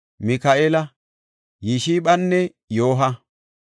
Mika7eela, Yishphanne Yooha.